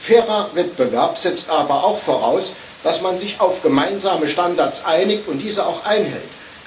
Ein fairer Wettbewerb setzt aber auch voraus, dass man sich auf gemeinsame Standards einigt und diese auch einhält.